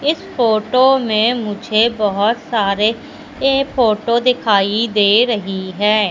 इस फोटो में मुझे बहुत सारे ये फोटो दिखाई दे रही है।